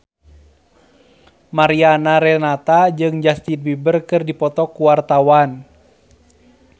Mariana Renata jeung Justin Beiber keur dipoto ku wartawan